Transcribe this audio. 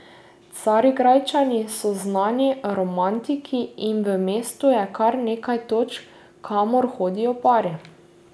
Carigrajčani so znani romantiki in v mestu je kar nekaj točk, kamor hodijo pari.